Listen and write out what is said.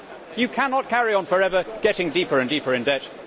You cannot carry on forever getting deeper and deeper in debt.